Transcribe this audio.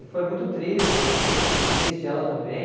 E foi muito triste, eu fiquei muito triste, ela também.